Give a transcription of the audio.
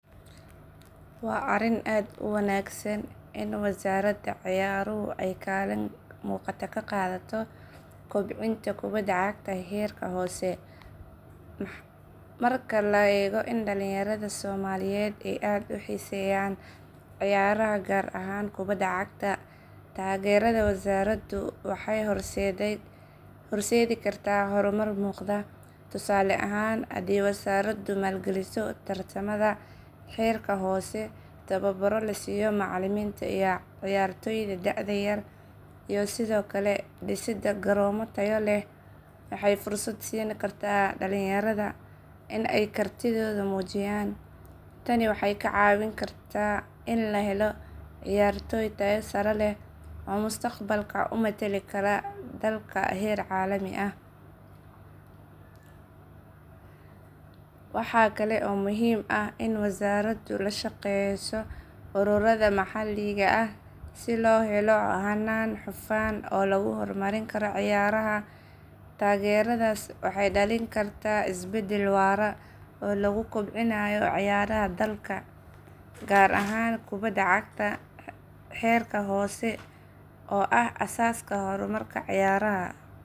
Waa arrin aad u wanaagsan in wasaaradda ciyaaruhu ay kaalin muuqata ka qaadato kobcinta kubadda cagta heerka hoose. Marka la eego in dhalinyarada Soomaaliyeed ay aad u xiiseynayaan ciyaaraha gaar ahaan kubadda cagta, taageerada wasaaraddu waxay horseedi kartaa horumar muuqda. Tusaale ahaan, haddii wasaaraddu maalgeliso tartamada heerka hoose, tababarro la siiyo macallimiinta iyo ciyaartoyda da'da yar, iyo sidoo kale dhisidda garoomo tayo leh, waxay fursad siin kartaa dhalinyarada in ay kartidooda muujiyaan. Tani waxay ka caawin kartaa in la helo ciyaartoy tayo sare leh oo mustaqbalka u matali kara dalka heer caalami ah. Waxaa kale oo muhiim ah in wasaaraddu la shaqeyso ururada maxalliga ah si loo helo hannaan hufan oo lagu horumarin karo ciyaaraha. Taageeradaas waxay dhalin kartaa isbedel waara oo lagu kobcinayo ciyaaraha dalka, gaar ahaan kubadda cagta heerka hoose oo ah aasaaska horumarka ciyaaraha.